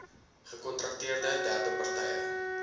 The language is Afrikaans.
gekontrakteerde derde partye